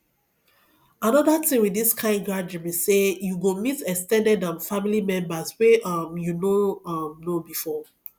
another thing with this kind gathering be say you go meet ex ten ded um family members wey um you no um know before